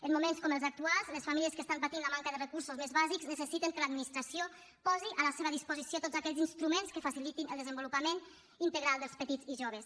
en moments com els actuals les famílies que estan patint la manca de recursos més bàsics necessiten que l’administració posi a la seva disposició tots aquells instruments que facilitin el desenvolupament integral dels petits i joves